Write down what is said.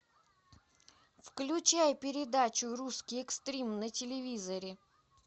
включай передачу русский экстрим на телевизоре